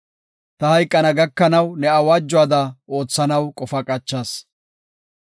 Ta hayqana gakanaw ne awaajuwada oothanaw qofa qachas.